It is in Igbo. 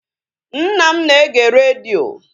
Nna m na-ege redio